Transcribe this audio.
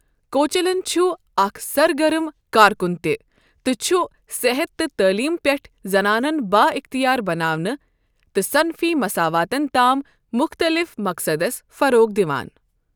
کوچلن چھُ اکھ سرگرم کارکُن تہِ تہٕ چھُ صحت تہٕ تعلیم پٮ۪ٹھٕ زنانَن بااختیار بناونہٕ تہٕ صنفی مساواتَس تام مختلف مقصدَس فروغ دِوان۔